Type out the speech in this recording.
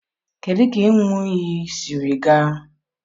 kedụ ka ịn̄ụ iyi siri gaa?